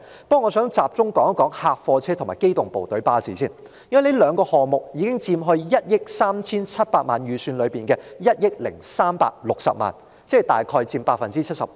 不過我想先集中談談貨車及機動部隊巴士，因為這兩個項目已佔 137,976,000 元預算開支中的1億360萬元，即約佔 75%。